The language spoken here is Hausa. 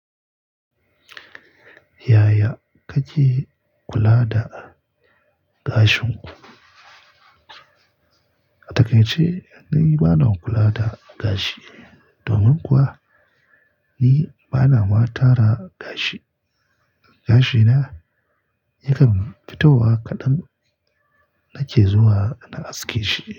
Yaya kake kula da gashin ku? A taƙaice ni bana kula da gashi. Domin kuwa ni bana ma tara gashi. Gashina yakan fitowa kaɗan nake zuwa na aske shi.